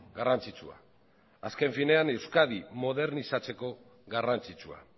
garrantzitsua azken finean euskadi modernizatzeko garrantzitsua